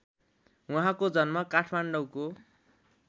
उहाँको जन्म काठमाडौँको